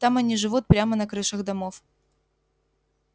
там они живут прямо на крышах домов